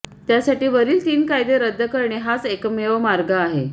त्यासाठी वरील तीन कायदे रद्द करणे हाच एकमेव मार्ग आहे